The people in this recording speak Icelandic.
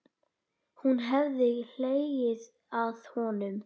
Hún hefði hlegið að honum.